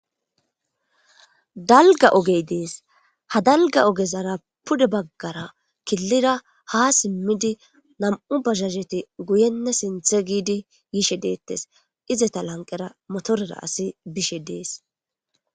Dalgga ogey deese. Ha dalga oggezara Pude bagara kilira ha simidi Namu bajajeti Guyene sinthe gidi yishe Detes izeta lanqera Moterera Asiy Bishe Des